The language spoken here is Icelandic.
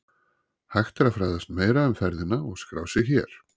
Hægt er að fræðast meira um ferðina og skrá sig hér